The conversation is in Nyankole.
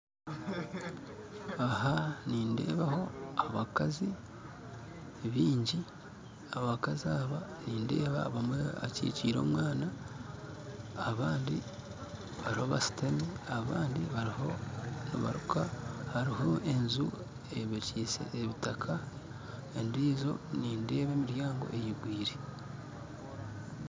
Aha nindeebaho abakazi baingi abakazi aba nindeeba omwe akikiire omwana abandi bariho bashuutami abandi bariho nibaruuka hariho enju eyombekyise ebitaaka endiijo nindeeba emiryango eigwire